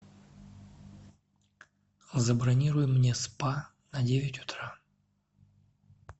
забронируй мне спа на девять утра